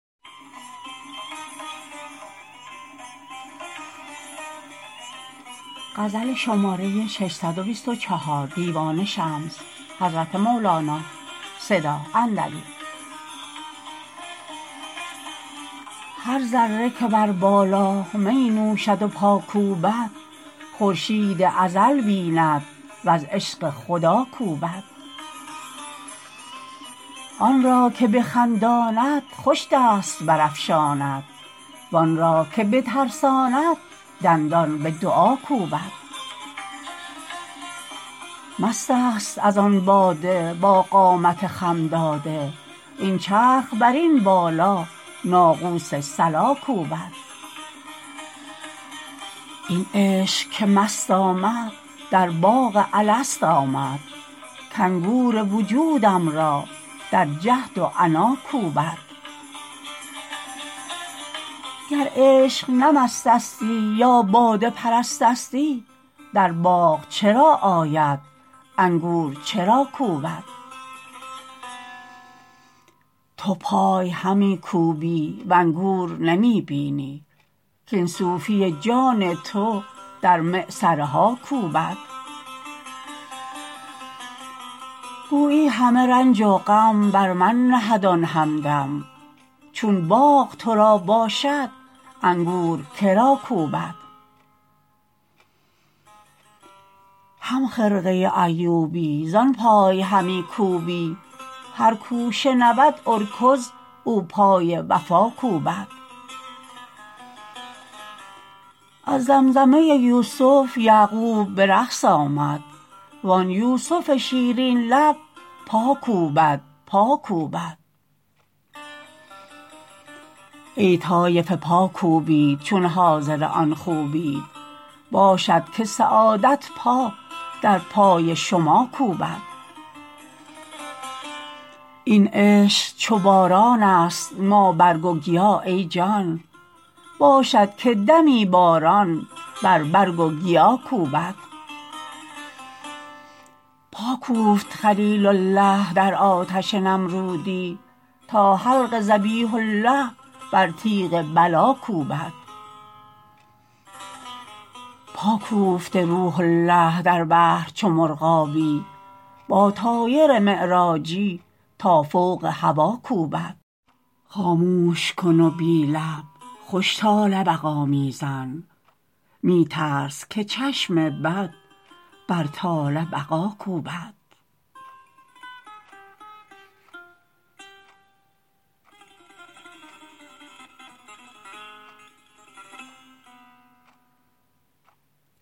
هر ذره که بر بالا می نوشد و پا کوبد خورشید ازل بیند وز عشق خدا کوبد آن را که بخنداند خوش دست برافشاند وان را که بترساند دندان به دعا کوبد مستست از آن باده با قامت خم داده این چرخ بر این بالا ناقوس صلا کوبد این عشق که مست آمد در باغ الست آمد کانگور وجودم را در جهد و عنا کوبد گر عشق نه مست استی یا باده پرست استی در باغ چرا آید انگور چرا کوبد تو پای همی کوبی و انگور نمی بینی کاین صوفی جان تو در معصره ها کوبد گویی همه رنج و غم بر من نهد آن همدم چون باغ تو را باشد انگور که را کوبد همخرقه ایوبی زان پای همی کوبی هر کو شنود ارکض او پای وفا کوبد از زمزمه یوسف یعقوب به رقص آمد وان یوسف شیرین لب پا کوبد پا کوبد ای طایفه پا کوبید چون حاضر آن جویید باشد که سعادت پا در پای شما کوبد این عشق چو بارانست ما برگ و گیا ای جان باشد که دمی باران بر برگ و گیا کوبد پا کوفت خلیل الله در آتش نمرودی تا حلق ذبیح الله بر تیغ بلا کوبد پا کوفته روح الله در بحر چو مرغابی با طایر معراجی تا فوق هوا کوبد خاموش کن و بی لب خوش طال بقا می زن می ترس که چشم بد بر طال بقا کوبد